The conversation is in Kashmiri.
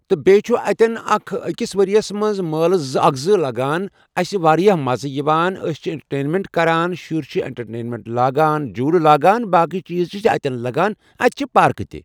تہٕ بییٚہِ چھِ اتٮ۪ن اکھ ؤرۍ یس منٛز چھِ مٲلہٕ زٕ لگان ییٚتٮ۪ن اسہِ واریاہ مزٕ چھُ لگان أسۍ چھِ انٹرٹینمیٚنٹ کران شُرۍ چھِ انٹڑٹینمیٚنٹ لگان جولہٕ چھِ لگان باقی چیٖز چھِ اتٮ۪ن لگان اتہِ چھِ پارک تہِ۔